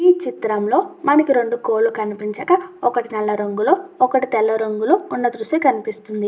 మనకి రెండు కోళ్లు కనిపించడం. ఒకటీ నల్ల రంగులో ఒక్కటి తెల్ల రంగులో ఉన్న దృశ్యం కనిపిస్తున్నది.